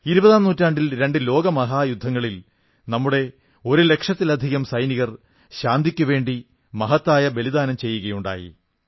ഇരുപതാം നൂറ്റാണ്ടിൽ രണ്ട് ലോകമഹായുദ്ധങ്ങളിൽ നമ്മുടെ ഒരു ലക്ഷത്തിലധികം സൈനികർ ശാന്തിയ്ക്കുവേണ്ടി മഹത്തായ ബലിദാനം അർപ്പിക്കുകയുണ്ടായി